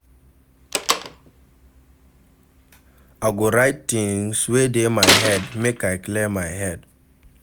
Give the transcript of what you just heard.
I go write tins wey dey my mind, make I clear my head.